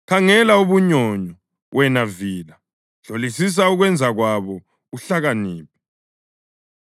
Khangela ubunyonyo, wena vila; hlolisisa ukwenza kwabo uhlakaniphe!